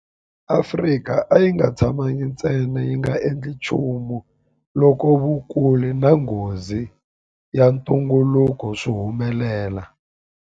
Afrika a yi nga tshamangi ntsena yi nga endli nchumu loko vukulu na nghozi ya ntungukulu swi humelela.